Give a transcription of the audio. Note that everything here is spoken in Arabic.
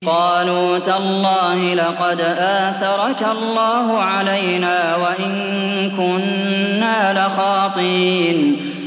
قَالُوا تَاللَّهِ لَقَدْ آثَرَكَ اللَّهُ عَلَيْنَا وَإِن كُنَّا لَخَاطِئِينَ